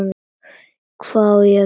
Hvað var ég að gera.?